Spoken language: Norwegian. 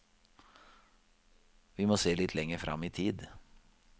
Vi må se litt lenger frem i tid.